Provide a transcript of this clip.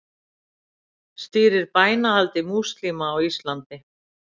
Stýrir bænahaldi múslíma á Íslandi